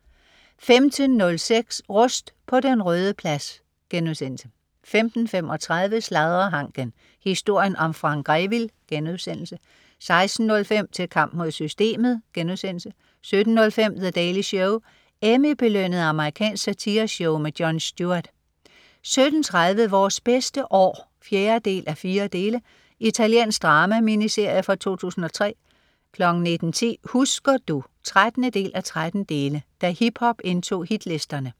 15.06 Rust på Den Røde Plads* 15.35 Sladrehanken. Historien om Frank Grevil* 16.05 Til kamp mod systemet* 17.05 The Daily Show. Emmy-belønnet amerikansk satireshow. Jon Stewart 17.30 Vores bedste år 4:4. Italiensk drama-miniserie fra 2003 19.10 Husker du? 13:13 Da hiphop indtog hitlisterne